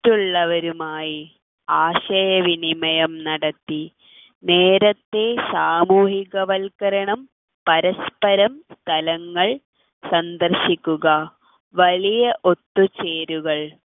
മറ്റുള്ളവരുമായി ആശയവിനിമയം നടത്തി നേരത്തെ സാമൂഹികവൽക്കരണം പരസ്പരം സ്ഥലങ്ങൾ സന്ദർശിക്കുക വലിയ ഒത്തുചേരുകൾ